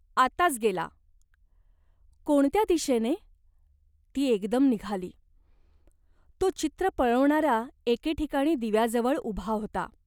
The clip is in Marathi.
आताच गेला." " कोणत्या दिशेने ?" ती एकदम निघाली. तो चित्र पळवणारा एके ठिकाणी दिव्याजवळ उभा होता.